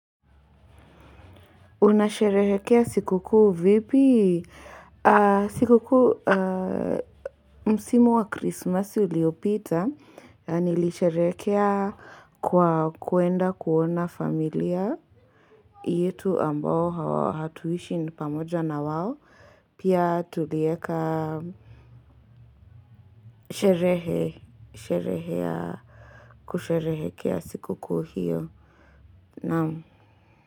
Unasherehekea sikuku vipi sikuku msimu wa krismasi uliopita nilisherehekea kwakwenda kuona familia yetu ambao hatuishi pamoja na wao pia tulieka kusherehekea sikuku hiyo naam.